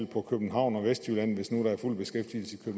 på københavn og vestjylland hvis nu der er fuld beskæftigelse i